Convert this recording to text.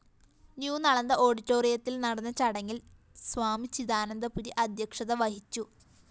ന്യൂനളന്ദ ഓഡിറ്റോയിത്തില്‍ നടന്ന ചടങ്ങില്‍ സ്വാമി ചിദാനന്ദപുരി അദ്ധ്യക്ഷത വഹിച്ചു